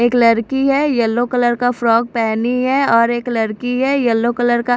एक लड़की है येलो कलर का फ्रॉक पहनी है और एक लड़की है येलो कलर का --